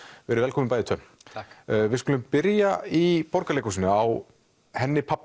verið velkomin bæði tvö takk við skulum byrja í Borgarleikhúsinu á henni pabba